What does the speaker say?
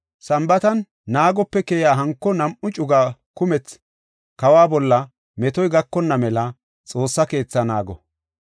Sambaata galas naagope keyiya hanko nam7u cugay kumethi kawa bolla metoy gakonna mela Xoossa keetha naago.